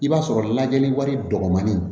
I b'a sɔrɔ lajɛli wari dɔgɔmanin